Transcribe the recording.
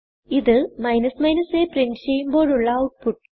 ഇത് a print ചെയ്യുമ്പോഴുള്ള output